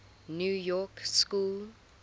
new york school